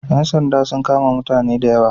Ƴan sanda sun kama mutane da yawa.